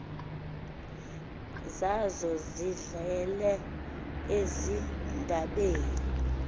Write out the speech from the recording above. zazo zihlale ezindadeni